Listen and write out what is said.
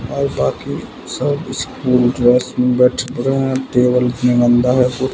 और बाकी सब स्कूल क्लास में बैठ गए हैं टेबल इतने गंदा है।